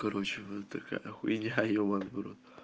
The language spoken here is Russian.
короче вот такая хуйня ебаный в рот